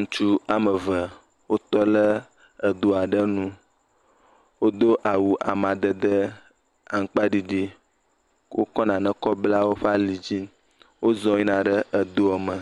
Ŋutsu ame eve wotɔ lɛ edo aɖe nu. Wodo awu amadede aŋkpaɖiɖi. wokɔ nane kɔ bla woƒe alidzi. Wozɔ yina ɖe edoɔ me